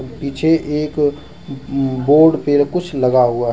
पीछे एक अह बोर्ड फिर कुछ लगा हुआ है।